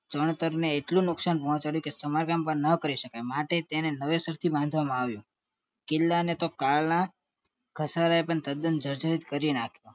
ચણત્તર ને એટલું નુકસાન પહોંચાડ્યું કે સમારકામ પણ ન કરી માટે તેને નવેસરથી બાંધવામાં આવ્યું કિલ્લા ને તો કાલ ના ઘસારા એ પણ તદન જડ જડી કરી નાખ્યું